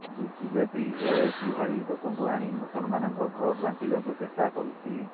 BJP Owaisi ଭଳି ଲୋକଙ୍କୁ ଆଣି ମୁସଲମାନଙ୍କ ଭୋଟ ବାଣ୍ଟିବାକୁ ଚେଷ୍ଟା କରୁଛି